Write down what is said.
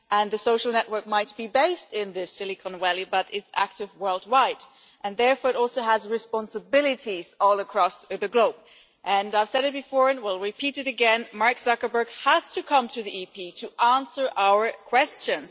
The social network might be based in the Silicon Valley, but it is active worldwide and, therefore, it also has responsibilities all across the globe. I have said it before and will repeat it again, Mark Zuckerberg has to come to the European Parliament to answer our questions